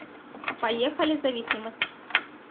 поехали зависимость